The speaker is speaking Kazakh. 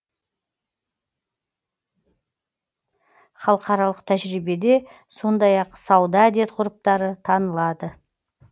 халықаралық тәжірибеде сондай ақ сауда әдет ғұрыптары танылады